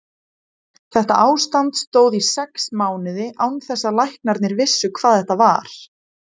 Þetta ástand stóð í sex mánuði án þess að læknarnir vissu hvað þetta var.